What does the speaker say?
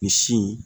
Misi